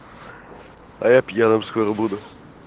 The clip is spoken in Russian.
а я пьяным скоро буду